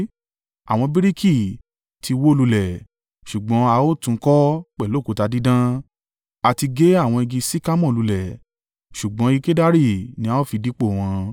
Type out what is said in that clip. Àwọn bíríkì ti wó lulẹ̀ ṣùgbọ́n a ó tún un kọ́ pẹ̀lú òkúta dídán, a ti gé àwọn igi sikamore lulẹ̀ ṣùgbọ́n igi kedari ní a ó fi dípò wọn.